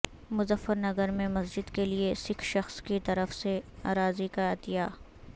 مظفر نگر میں مسجد کیلئے سکھ شخص کی طرف سے اراضی کا عطیہ